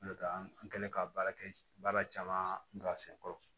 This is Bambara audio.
N'o tɛ an kɛlen ka baara kɛ baara caman ka sen kɔrɔ